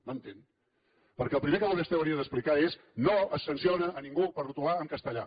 m’entén perquè el primer que vostè hauria d’explicar és no es sanciona ningú per retolar en castellà